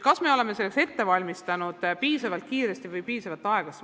Kas me oleme selleks valmistunud piisavalt kiiresti või liiga aeglaselt?